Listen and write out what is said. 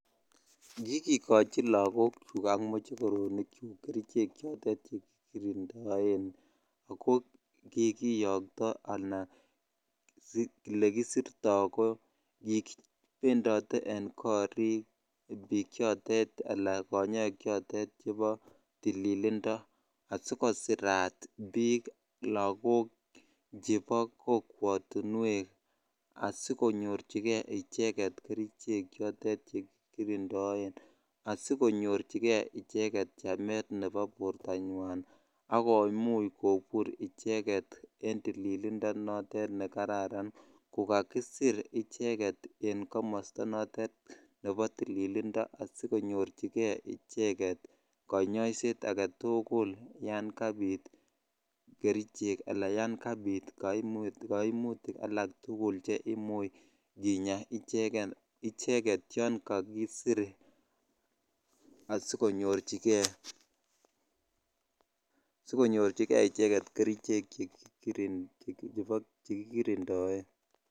Kikikoch lakochuk ak mochokorok chuk kerichek che kikirindoenak kikiyokto anan olekisirto ko kikipendote en korikbik chotet ala konyok choton chebo tililindoasikosirat bik lakok chebo kokwotuwek asikosir icheget kerichek choton che kikirindoen asilonyorchikei chamet nebo bortanyan akomuch kobur icheget en tililindone kararan ko kakisir en komosto notet nebo tililindo asikonyorchijei icheget konyoiset agetukul yan kabit kerichek ala yan kabit kaimutik alaktukul che imuch kinya icheget yan kakisir asikonyorchikei konyoiset yan kakisir kerichek che kikirindoen.